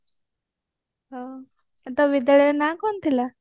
ଆଉ ତୋ ବିଦ୍ୟାଳୟ ନାଁ କଣ ଥିଲା